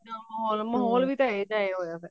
ਮਹੋਲ ਮਹੋਲ ਵੀ ਤਾਂ ਇਹੋ ਜਿਹਾ ਹੋਇਆ ਪਿਆ